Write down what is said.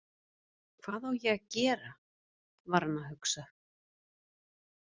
Hvað á ég að gera var hann að hugsa.